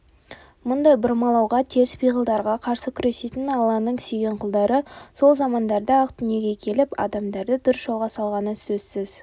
мұндай бұрмалауға теріс пиғылдарға қарсы күресетін алланың сүйген құлдары сол замандарда-ақ дүниеге келіп адамдарды дұрыс жолға салғаны сөзсіз